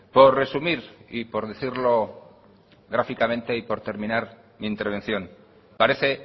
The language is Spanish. por resumir y por decirlo gráficamente y por terminar mi intervención parece